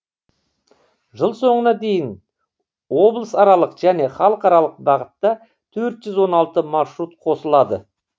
жыл соңына дейін облысаралық және халықаралық бағыттатөрт жүз он алты маршрут қосылады